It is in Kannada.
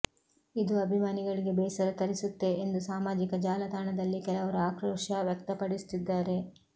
ಇದು ಅಭಿಮಾನಿಗಳಿಗೆ ಬೇಸರ ತರಿಸುತ್ತೆ ಎಂದು ಸಾಮಾಜಿಕ ಜಾಲತಾಣದಲ್ಲಿ ಕೆಲವರು ಆಕ್ರೋಶ ವ್ಯಕ್ತಪಡಿಸುತ್ತಿದ್ದಾರೆ